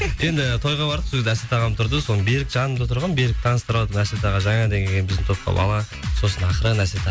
енді тойға бардық сол кезде әсет ағам тұрды сосын берік жанымда тұрған берікті таныстырыватырмын әсет аға жаңадан келген біздің топқа бала сосын ақырын әсет аға